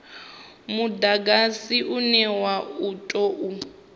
mudagasi une wa u tou